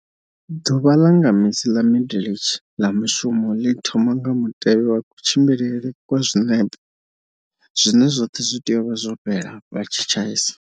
Ḓuvha ḽa nga misi ḽa midle tshe ḽa mushumo ḽi thoma nga mutevhe wa kutshimbilele kwa zwinepe, zwine zwoṱhe zwi tea u vha zwo fhela vha tshi tshaisa.